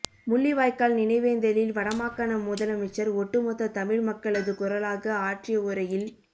முள்ளிவாய்க்கால் நினைவேந்தலில் வடமாகாண முதலமைச்சர் ஒட்டுமொத்த தமிழ் மக்களது குரலாக ஆற்றிய உரையில்